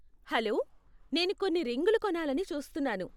Hello, నేను కొన్ని రింగ్లు కొనాలని చూస్తున్నాను.